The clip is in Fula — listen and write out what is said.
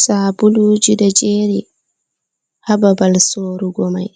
Sabuluji ɗo jeri ha babal sorugo mai,